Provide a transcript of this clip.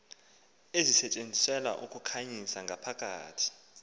ezisetyenziselwa ukukhanyisa ngaphakathi